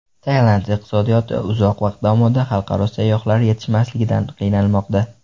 Tailand iqtisodiyoti uzoq vaqt davomida xalqaro sayyohlar yetishmasligidan qiynalmoqda.